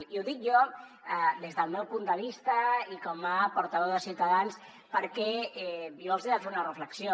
i ho dic jo des del meu punt de vista i com a portaveu de ciutadans perquè jo els hi he de fer una reflexió